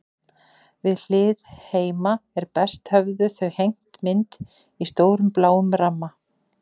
Við hlið heima er best höfðu þau hengt mynd í stórum, bláum ramma.